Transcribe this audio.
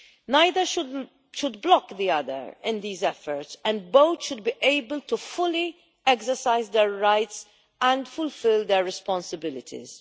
Neither should block the other in these efforts, and both should be able to fully exercise their rights and fulfil their responsibilities.